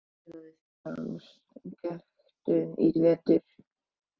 Já, ég smíðaði fyrir hann skektu í vetur.